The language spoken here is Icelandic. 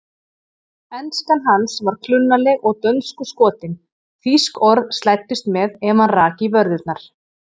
Enskan hans var klunnaleg og dönskuskotin, þýsk orð slæddust með ef hann rak í vörðurnar.